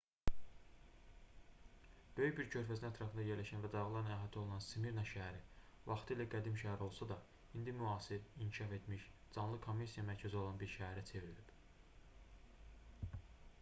böyük bir körfəzin ətrafında yerləşən və dağlarla əhatə olunan smirna şəhəri vaxtilə qədim şəhər olsa da indi müasir inkişaf etmiş canlı kommersiya mərkəzi olan bir şəhərə çevrilib